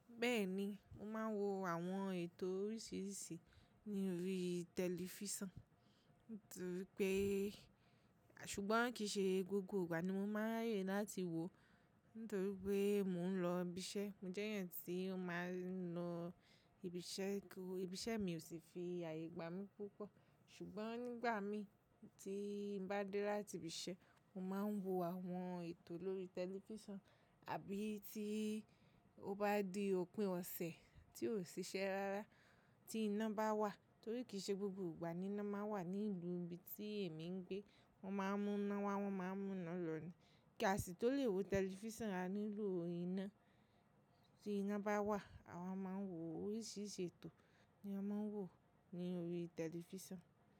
Bẹ́ẹ̀ni, mo máa ń wo àwọn ètò oríṣiríṣi ní orí tẹlifísàn nítorí pé, ṣùgbọ́n kì í ṣe gbogbo ìgbà ni mo máa ń ràyè láti wò ó nítorí pé mò ń lọ ibi iṣẹ́. Mo jẹ́ èèyàn tí ó máa ń lọ ibi iṣẹ́, ibi iṣẹ́ mi ò sì fi àyè gbá mi púpọ̀. Ṣùgbọ́n nígbà mí tí ń bá dé láti ibi iṣẹ́, mo máa ń wo àwọn ètò lórí tẹlifísàn àbí tí ó bá di òpin ọ̀sẹ̀ tí ò ṣiṣẹ́ rárá tí iná bá wà torí kì í ṣe gbogbo ìgbà ni iná máa ń wà ní ìlú ibi tí èmi ń gbé. Wọ́n máa ń mú iná wá, wọ́n máa ń mú iná lọ ní. Kí a sì tó le wo tẹlifísàn a nílo iná. Tí iná bá wà a máa ń wo oríṣiríṣi ètò ni a máa ń wò ó ní orí tẹlifísàn.